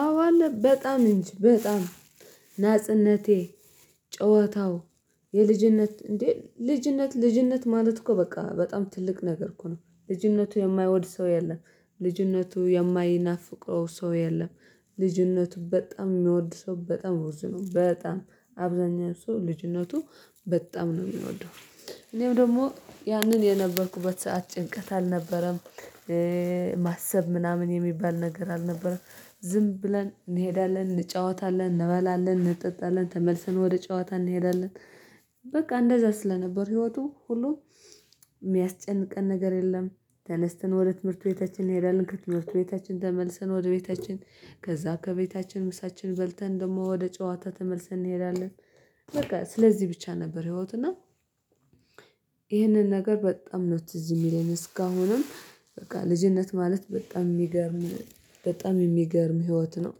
አዎ አለ በጣም እንጂ በጣም ናጽነቴን ጨዋታው የልጅነት እንዴ ልጅነት ልጅነት ማለት እኮ በቃ በጣም ትልቅ ነገር እኮ ነው ልጅነቱ የማይወድ ሰው የለም። ልጅነቱ የማይናፍቀው ሰው የለም። ልጅነቱ በጣም የሚወድ ሰው በጣም ብዙ ነው በጣም አብዛኛው ሰው ልጅነቱ በጣም ነው የሚወደው። እኔም ደግሞ ያንን የነበርኩበት ሰዓት ጭንቀት አልነበረም። ማሰብ ምናምን የሚባል ነገር አልነበረም። ዝም ብለን እንሄዳለን እንጫዎታለን እንበላለን እንጠጣለን ተመልሰን ወደ ጨዋታ እንሄዳለን። በቃ እንደዛ ስለነበር ህይወቱ ሁሉም የሚያስጨንቀን ነገር የለም። ተነስተን ወደ ትምህርት ቤታችን እንሄዳለን ከትምህርት ቤታችን ተመልሰን ወደ ቤታችን። ከዛ ከቤታችን ምሳችንን በልተን ደግሞ ወደ ጨዋታ ተመልሰን እንሄዳለን። በቃ ስለዚህ ብቻ ነበር ህይወት እና። ይህንን ነገር በጣም ነው ትዝ የሚለኝ እስካሁንም በቃ ልጅነት ማለት በጣም የሚገርም በጣም የሚገርም ህይወት ነው።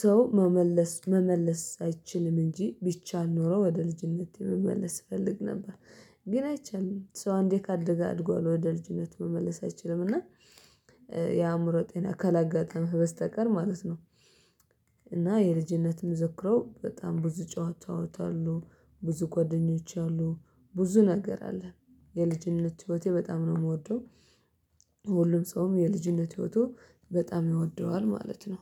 ሰው መመለስ መመለስ አይችልም እንጂ ቢቻል ኖሮ ወደ ልጅነት መመለስ እፈልግ ነበር። ግን አይቻልም ሰው አንዴ ካደገ አድጓል ወደ ልጅነት መመለስ አይችልም። እና የአእምሮ ጤና ካላጋጠመህ በስተቀር ማለት ነው። እና የልጅነት ምዘክረው በጣም ብዙ ጨዋታዎች አሉ ብዙ ጓደኞች አሉ ብዙ ነገር አለ የልጅነት ህይወቴ በጣም ነው የምወደው። ሁሉም ሰውም የልጅነት ህይወቱ በጣም ይወደዋል ማለት ነው